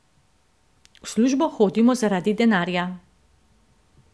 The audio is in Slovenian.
V službo hodimo zaradi denarja.